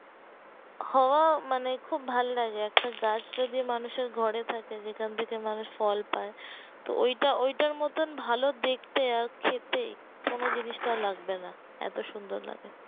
হওয়া মানে খুব ভাল্লাগে একটা গাছ যদি মানুষের ঘরে থাকে যেখান থেকে মানুষ ফল পাই তো ঐটা ঐটার মতোন ভালো দেখতে আর খেতে কোনো জিনিসটা লাগবে না এতো সুন্দর লাগে